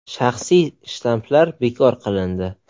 Shaxsiy shtamplar bekor qilindi.